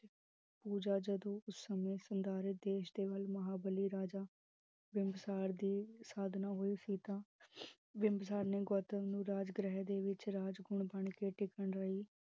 ਪੂਜਾ ਜਦੋ ਉਸ ਸਮੇਂ ਸੰਦਾਰੀਥ ਦੇਸ਼ ਦੇ ਮਹਾਬਾਲ੍ਲੀ ਰਾਜਾ ਬਿਮਬਸਰ ਦੀ ਸਾਧਨਾ ਹੋਈ ਸੀ ਤਾ ਬਿਮਬਸਰ ਨੇ ਗੌਤਮ ਨੂੰ ਰਾਜ ਗ੍ਰਹਿ ਦੇ ਵਿਚ ਰਾਜਕੁਮਾਰ ਬਣ ਕੇ ਟਿਕਣ ਲਾਇ